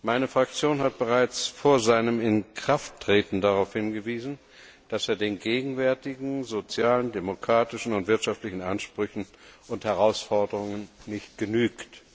Meine Fraktion hat bereits vor seinem Inkrafttreten darauf hingewiesen, dass er den gegenwärtigen sozialen, demokratischen und wirtschaftlichen Ansprüchen und Herausforderungen nicht genügt.